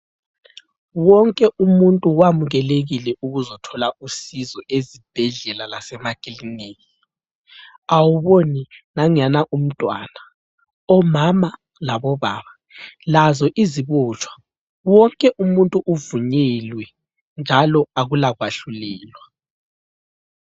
Wonke umuntu wamukelekile ukuzothola usizo ezibhedlela lasemakiliniki. Awuboni nanguyana umntwana, omama labobaba lazo izibotshwa? Wonke umuntu uvunyelwe njalo akula kwahlulelwa.